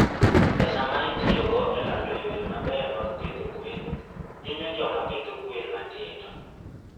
Pesa ma itiyogo e lando yore mabeyo mag pidho gwen hinyo joma pidho gwen matindo.